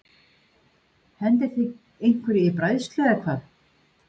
Hendið þið einhverju í bræðslu eða hvað?